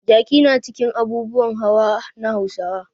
Jaki na cikin abubuwan hawa na Hausawa.